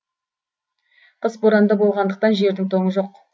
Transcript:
қыс боранды болғандықтан жердің тоңы жоқ